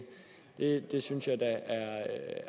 det det synes jeg da